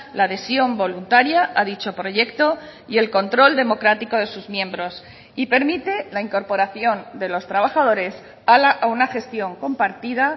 la adhesión voluntaria a dicho proyecto y el control democrático de sus miembros y permite la incorporación de los trabajadores a una gestión compartida